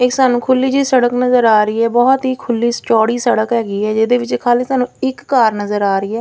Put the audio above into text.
ਇਹ ਸਾਨੂੰ ਖੁੱਲੀ ਜੀ ਸੜਕ ਨਜ਼ਰ ਆ ਰਹੀ ਆ ਬਹੁਤ ਹੀ ਖੁੱਲੀ ਚੌੜੀ ਸੜਕ ਹੈਗੀ ਆ ਜਿਹਦੇ ਵਿੱਚ ਖਾਲੀ ਸਾਨੂੰ ਇੱਕ ਕਾਰ ਨਜ਼ਰ ਆ ਰਹੀ ਆ।